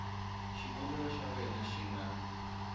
xikombelo xa wena xi nga